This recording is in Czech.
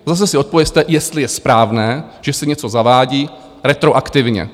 Zase si odpovězte, jestli je správné, že se něco zavádí retroaktivně.